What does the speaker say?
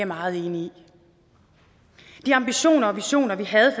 meget enig i de ambitioner og visioner vi havde